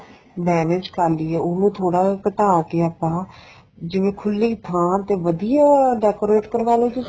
manage ਕਰ ਲਈਏ ਉਹਨੂੰ ਥੋੜਾ ਘਟਾ ਕੇ ਆਪਾਂ ਜਿਵੇਂ ਖੂਲੀ ਥਾਂ ਤੇ ਵਧੀਆ decorate ਕਰਵਾ ਲੋ ਤੁਸੀਂ